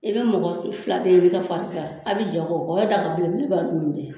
I bɛ mɔgɔ si fila de ɲini ka fara n kan, a b'i jɛ a kɔ bɔgɔ tɛ a babilen min b'a